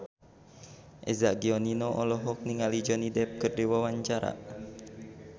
Eza Gionino olohok ningali Johnny Depp keur diwawancara